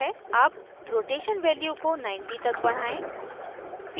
अब rotation value को 90 तक बढ़ाएं